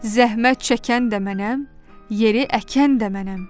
Zəhmət çəkən də mənəm, yeri əkən də mənəm.